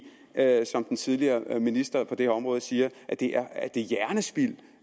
jeg er i som den tidligere minister for det her område siger at det er